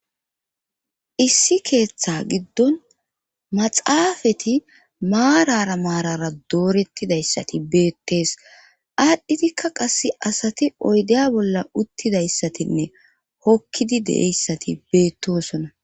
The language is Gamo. issi keeththa giddon maxaafati maarara maarara doorettidayssati beettees aadhdhidikka qase asati oydeya bolla uttidayssatinne hokkidi deeyssati beettosona